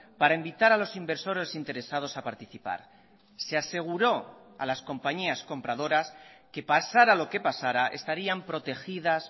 para invitar a los inversores interesados a participar se aseguró a las compañías compradoras que pasara lo que pasara estarían protegidas